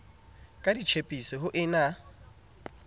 ka ditjhipse ho e na